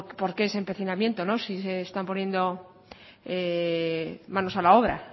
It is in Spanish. por qué ese empecinamiento si se están poniendo manos a la obra